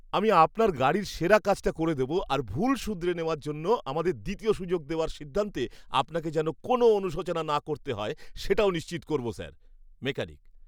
আমি আপনার গাড়ির সেরা কাজটা করে দেব আর ভুল শুধরে নেওয়ার জন্য আমাদের দ্বিতীয় সুযোগ দেওয়ার সিদ্ধান্তে আপনাকে যেন কোনও অনুশোচনা না করতে হয় সেটাও নিশ্চিত করবো, স্যার! মেকানিক